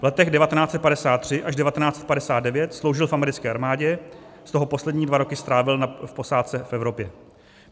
V letech 1953 až 1959 sloužil v americké armádě, z toho poslední dva roky strávil na posádce v Evropě.